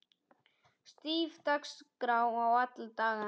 Stíf dagskrá er alla daga.